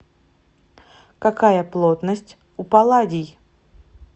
какая плотность у палладий